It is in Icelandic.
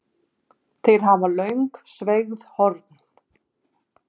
Þeir hafa löng sveigð horn.